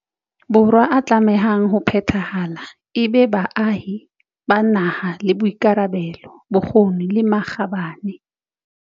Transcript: Borwa a tlamehang ho phethahala e be baahi ba nang le boikarabelo, bokgoni le makgabane.